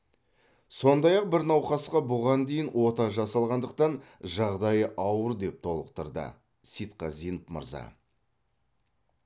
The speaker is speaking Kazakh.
сондай ақ бір науқасқа бұған дейін ота жасалғандықтан жағдайы ауыр деп толықтырды сейтқазин мырза